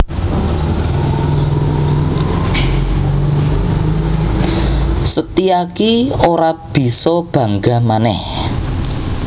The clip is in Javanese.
Setyaki ora bisa bangga manèh